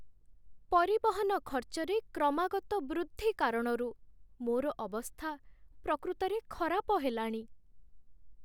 ପରିବହନ ଖର୍ଚ୍ଚରେ କ୍ରମାଗତ ବୃଦ୍ଧି କାରଣରୁ ମୋର ଅବସ୍ଥା ପ୍ରକୃତରେ ଖରାପ ହେଲାଣି।